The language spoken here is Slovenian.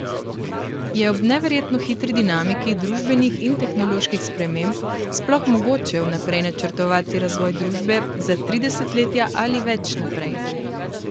Je ob neverjetno hitri dinamiki družbenih in tehnoloških sprememb sploh mogoče vnaprej načrtovati razvoj družbe za tri desetletja ali več naprej?